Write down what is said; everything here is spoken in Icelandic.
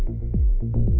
þú